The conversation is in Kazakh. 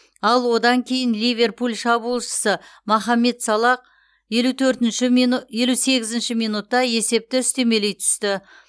ал одан кейін ливерпуль шабуылшысы мохамед салах елу сегізінші минутта есепті үстемелей түсті